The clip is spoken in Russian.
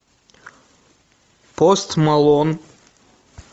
пост малон